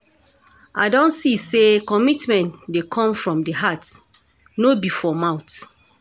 I don see say commitment dey come from di heart no be for mouth.